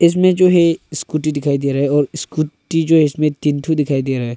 इसमें जो है स्कूटी दिखाई दे रहा है और स्कूटी जो है इसमें तीन तो दिखाई दे रहा है।